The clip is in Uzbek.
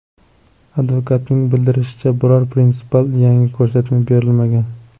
Advokatning bildirishicha, biror prinsipial yangi ko‘rsatma berilmagan.